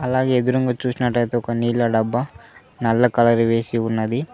అలాగే ఎదురుంగా చూసినట్టయితే ఒక నీళ్ల డబ్బా నల్ల కలర్ వేసి ఉన్నది.